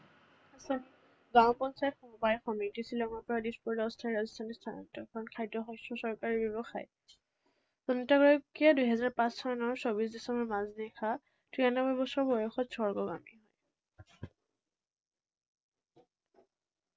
গাঁও পঞ্চায়ত সমবায় সমিতি, শ্বিলঙৰ পৰা দিছপুৰলৈ অস্থায়ী ৰাজধানী স্থানান্তৰিত, চৰকাৰী ব্যৱসায়। দুহেজাৰ পাঁচ চনৰ চৌবিশ ডিচেম্বৰৰ মাজনিশা তিৰানব্বৈ বছৰ বয়সত স্বৰ্গগামী।